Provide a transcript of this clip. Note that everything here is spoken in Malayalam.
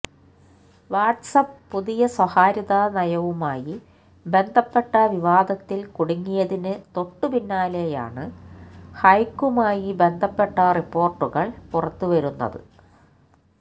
വാട്സ്ആപ്പ് പുതിയ സ്വകാര്യതാ നയവുമായി ബന്ധപ്പെട്ട വിവാദത്തിൽ കുടുങ്ങിയതിന് തൊട്ടുപിന്നാലെയാണ് ഹൈക്കുമായി ബന്ധപ്പെട്ട റിപ്പോർട്ടുകൾ പുറത്ത് വരുന്നത്